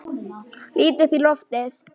Lít upp í loftið.